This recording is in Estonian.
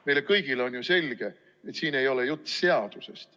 Meile kõigile on ju selge, et siin ei ole juttu seadusest.